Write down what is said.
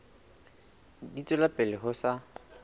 di tswela pele ho sa